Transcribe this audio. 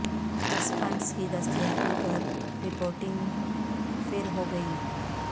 بس فنڈز کی دستیابی پر رپورٹنگ پھر ہو گی